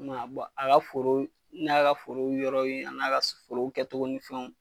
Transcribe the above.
I ma ye bɔn a ka foro n ye ka foro yɔrɔ ye a n'a ka foro kɛ togo ni fɛnw